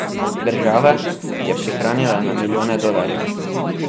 Država je prihranila na milijone dolarjev.